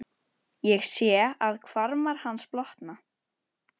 Ég sé að hvarmar hans blotna.